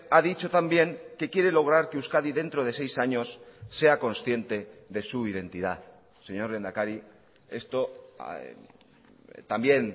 ha dicho también que quiere lograr que euskadi dentro de seis años sea consciente de su identidad señor lehendakari esto también